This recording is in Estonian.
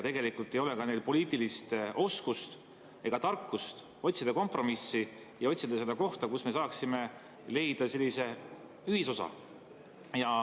Tegelikult ei ole neil poliitilist oskust ega tarkust otsida kompromissi ja otsida seda kohta, kus me saaksime leida ühisosa.